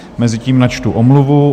Mezitím načtu omluvu.